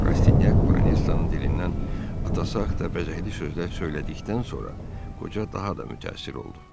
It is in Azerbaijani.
Rastinyak Boronisyanın dilindən atası haqqında bəzəkli sözlər söylədikdən sonra qoca daha da mütəəssir oldu.